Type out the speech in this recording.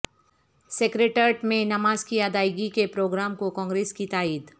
secretariat میں نماز کی ادائیگی کے پروگرام کو کانگریس کی تائید